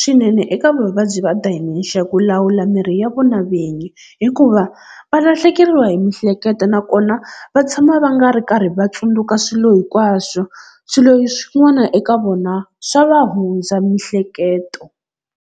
swinene eka vavabyi va Dementia ku lawula mirhi ya vona vinyi, hikuva va lahlekeriwa hi mihleketo nakona va tshama va nga ri karhi va tsundzuka swilo hinkwaswo, swilo swin'wana eka vona swa va hundza mihleketo.